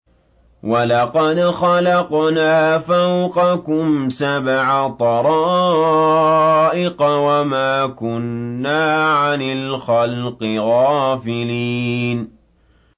وَلَقَدْ خَلَقْنَا فَوْقَكُمْ سَبْعَ طَرَائِقَ وَمَا كُنَّا عَنِ الْخَلْقِ غَافِلِينَ